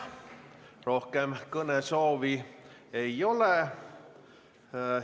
Rohkem kõnesoove ei ole.